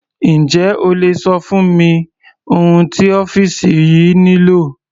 Njẹ́ o lè ṣọ fún mi ohun tí ọ́fìsì yìí nílò?